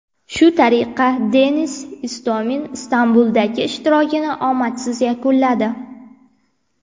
Shu tariqa, Denis Istomin Istanbuldagi ishtirokini omadsiz yakunladi.